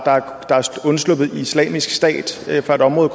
er undsluppet islamisk stat fra et område